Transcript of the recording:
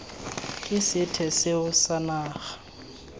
ke sethwe seo sa naga